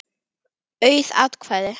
Auð atkvæði